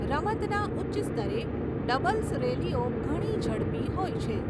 રમતના ઉચ્ચ સ્તરે, ડબલ્સ રેલીઓ ઘણી ઝડપી હોય છે.